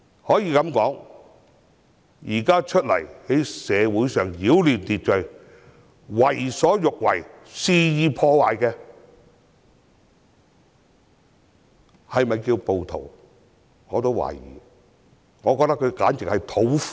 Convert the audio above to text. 我對現時擾亂社會秩序，為所欲為，肆意破壞的人是否稱為暴徒表示懷疑，我覺得他們簡直是土匪。